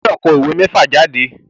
O gbọdọ̀ kọ òwe mẹ́fà jáde.